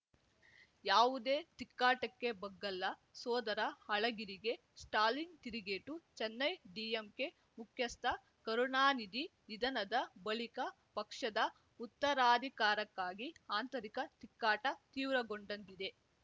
ಯಾವುದೇ ತಿಕ್ಕಾಟಕ್ಕೆ ಬಗ್ಗಲ್ಲ ಸೋದರ ಅಳಗಿರಿಗೆ ಸ್ಟಾಲಿನ್‌ ತಿರುಗೇಟು ಚೆನ್ನೈ ಡಿಎಂಕೆ ಮುಖ್ಯಸ್ಥ ಕರುಣಾನಿಧಿ ನಿಧನದ ಬಳಿಕ ಪಕ್ಷದ ಉತ್ತರಾಧಿಕಾರಕ್ಕಾಗಿ ಆಂತರಿಕ ತಿಕ್ಕಾಟ ತೀವ್ರಗೊಂಡಂತಿದೆ